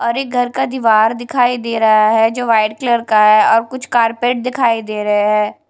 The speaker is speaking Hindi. और एक घर का दीवार दिखाई दे रहा हैं जो व्हाइट कलर का हैं और कुछ कारपेट दिखाई दे रहें--